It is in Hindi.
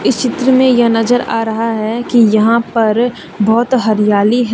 चित्र में यह नजर आ रहा है कि यहां पर बहोत हरियाली है।